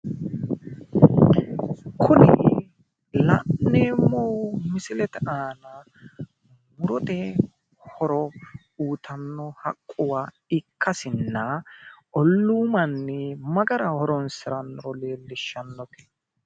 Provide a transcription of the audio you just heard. Kuni la'neemmohu misilete aana murote horo uuyitanno haqquwa ikkasinna olluu manni ma garinni horonsirannoro kultannote.